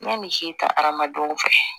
N bɛ misi ta adamadenw fɛ